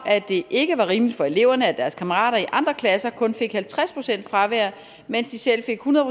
at det ikke var rimeligt for eleverne at deres kammerater i andre klasser kun fik halvtreds procent fravær mens de selv fik hundrede